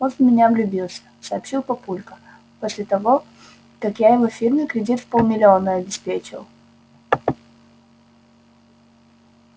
он в меня влюбился сообщил папулька после того как я его фирме кредит в полмиллиона обеспечил